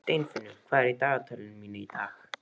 Steinfinnur, hvað er í dagatalinu mínu í dag?